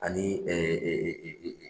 Ani